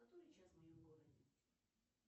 который час в моем городе